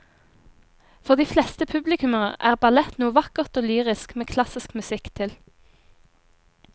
For de fleste publikummere er ballett noe vakkert og lyrisk med klassisk musikk til.